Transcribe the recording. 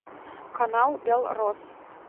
канал белрос